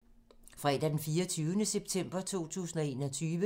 Fredag d. 24. september 2021